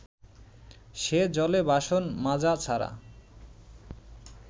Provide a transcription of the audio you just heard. সে জলে বাসন মাজা ছাড়া